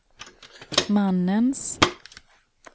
mannens